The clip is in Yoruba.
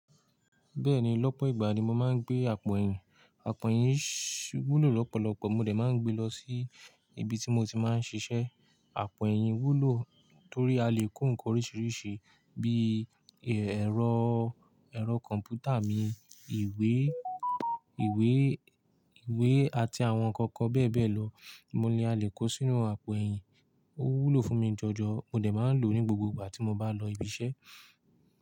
Bẹ́ẹ̀ni lọ́pọ̀ ìgbà ni mo máa ń gbé àpò ẹ̀yìn. Àpò ẹ̀yìn shh wúlò lọ́pọ̀lọpọ̀ mo dẹ̀ máa ń gbé lọ sí ibi tí mo ti máa ń ṣiṣẹ́. Àpò ẹ̀yìn wúlò torí a le kó nǹkan oríṣiríṣi bí i ẹ̀rọ, ẹ̀rọ kọ̀m̀pútà mi, ìwé, ìwé, ìwé àti àwọn ǹkan kan bẹ́ẹ̀ bẹ́ẹ̀ lọ. Mo ní a lè kó sínú àpò ẹ̀yìn. Ó wúlò fún mi jọjọ mo dẹ̀ máa ń lò ní gbogbo ìgbà tí mo bá lọ ibi iṣẹ́.